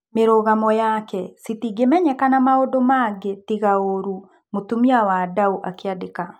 Mĩrũgamo yake " Citingĩmenyeka na maũndũ mangĩ tiga ũrũ", Mũtumia wa Ndau akĩandika.